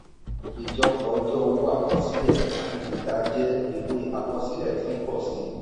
ijọpọ ọjọ́ owó àkọsílẹ̀ àti títà jẹ́ ìwé àkọsílẹ̀ tí ń pọ̀ sí i.